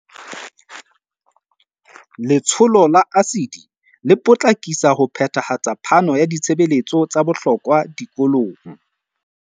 Letsholo la ASIDI le potlakisa ho phethahatsa phano ya ditshebeletso tsa bohlokwa dikolong